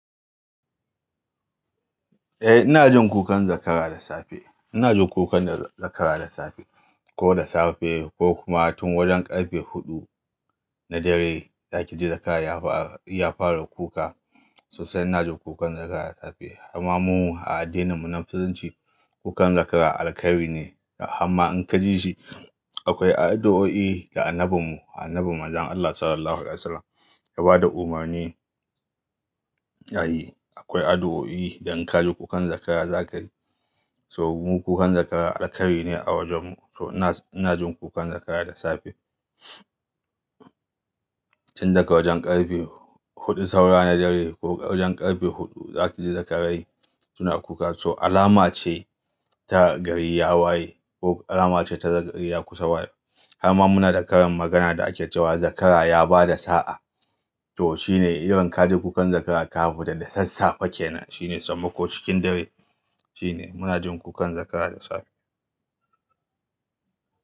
Eh ina jin kukan zakara da safe. Ina jin kukan zakara da safe. Ko da safe ko kuma tun wajen ƙarfe huɗu na dare za ki ji zakara ya fara kuka. Sosai ina jin kukan zakara da safe. Amma mu a addininmu na Musulunci kukan zakara alkhairi ne. Amma in ka ji shi akwai addu'o'i da Annabinmu, Annabi Manzon Allah Sallallahu Alaihi Wasallam ya ba da umarni. Ya yi, akwai addu'o'i da in ka ji kukan zakara za ka yi. So mu kukan zakara alkhairi ne a wajenmu. So ina jin kukan zakara da safe. Tun daga wajen ƙarfe huɗu saura na dare ko wajen ƙarfe huɗu za ki ji zakarai suna kuka. So alama ce ta gari ya waye ko alama ce ta gari ya kusa waye. Amma muna da karin magana da ake cewa "zakara ya ba da sa'a". To shine idan ka ji kukan zakara kafita da dasassafe kenan, shine samma ko cikin dare shine muna jin kukan zakara da safe.